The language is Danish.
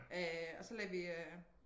Øh og så lagde vi øh